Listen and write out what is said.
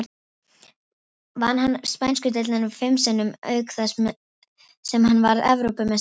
Vann hann spænsku deildina fim sinnum, auk þess sem hann varð Evrópumeistari í þrígang.